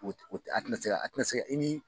a' tɛna se ka a' tɛna se ka i ni